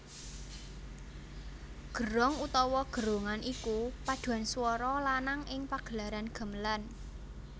Gerong utawa gerongan iku padhuan swara lanang ing pagelaran gamelan